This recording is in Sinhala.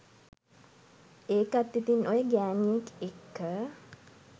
ඒකත් ඉතිං ඔය ගෑනියෙක් එක්ක